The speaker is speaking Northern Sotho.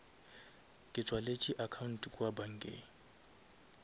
ke tswaletše account kua bankeng